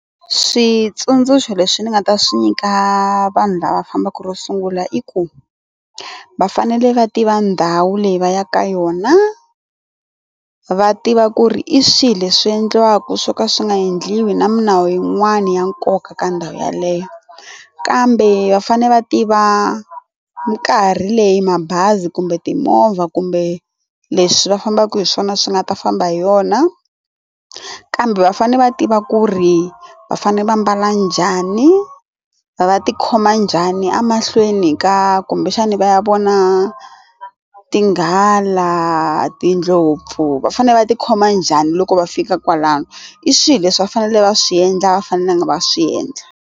Switsundzuxo leswi ni nga ta swi nyika vanhu lava fambaka ro sungula i ku va fanele va tiva ndhawu leyi va yaka ka yona va tiva ku ri i swilo leswi endliwaka swo ka swi nga endliwi na milawu yin'wani ya nkoka ka ndhawu yaleyo kambe va fane va tiva mikarhi leyi mabazi kumbe timovha kumbe leswi va fambaka hi swona swi nga ta famba hi yona kambe va fanele va tiva ku ri va fanele va mbala njhani va ti khoma njhani emahlweni ka kumbexani va ya vona tinghala, tindlopfu va fanele va ti khoma njhani loko va fika kwalano i swilo leswi va fanele va swi endla a va fanelangi va swi endla.